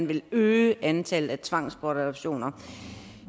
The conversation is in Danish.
vil øge antallet af tvangsbortadoptioner